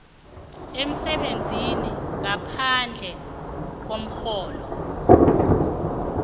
emsebenzini ngaphandle komrholo